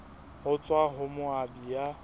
ho tswa ho moabi ya